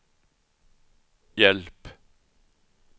hjälp